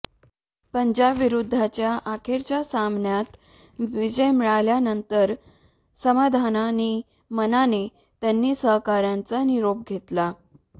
पंजाब विरुद्धच्या अखेरच्या सामन्यात विजय मिळवल्यानंतर समाधानी मनाने त्याने सहकाऱ्यांचा निरोप घेतला